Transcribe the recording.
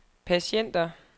patienter